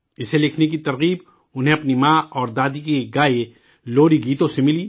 اسے لکھنے کی ترغیب انہیں اپنی ماں اور دادی کے گائے لوری گیتوں سے ملی